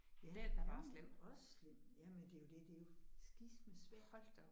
Ja færgen også slem ja men det er jo det er jo skisme svært